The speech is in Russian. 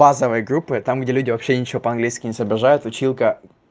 базовой группы там где люди вообще ничего по-английски не соображают училка